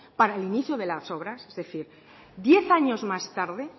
para el inicio de las obras es decir diez años más tarde